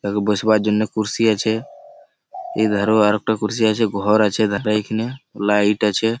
বসবার জন্য কুরসী আছে। এখানে আরো একটা কুরসী আছে। ঘর আছে এখানে লাইট আছে।